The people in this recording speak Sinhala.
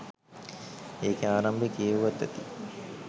ඒකෙ ආරම්භය කියෙව්වත් ඇති.